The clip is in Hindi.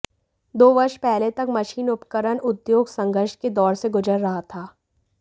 दो वर्ष पहले तक मशीन उपकरण उद्योग संघर्ष के दौर से गुजर रहा था